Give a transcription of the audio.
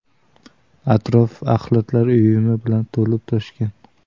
Atrof axlatlar uyumi bilan to‘lib-toshgan.